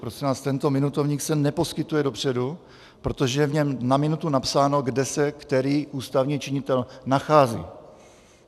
Prosím vás, tento minutovník se neposkytuje dopředu, protože je v něm na minutu napsáno, kde se který ústavní činitel nachází.